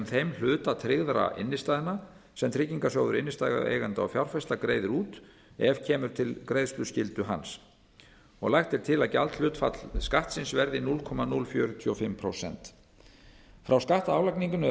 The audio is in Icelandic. þeim hluta tryggðra innstæðna sem tryggingarsjóður innstæðueigenda og fjárfesta greiðir út ef til greiðsluskyldu hans kemur lagt er til að gjaldhlutfall skattsins verði núll komma núll fjörutíu og fimm prósent frá skattálagningunni eru